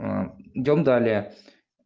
а идём далее